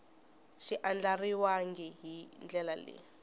xi andlariwangi hi ndlela leyi